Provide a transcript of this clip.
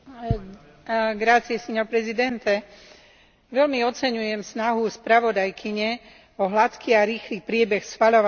Veľmi oceňujem snahu spravodajkyne o hladký a rýchly priebeh schvaľovania pozície Parlamentu k tomuto návrhu Komisie.